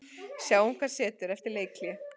Sjáum hvað setur eftir leikhlé.